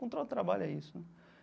Encontrar o trabalho é isso, né?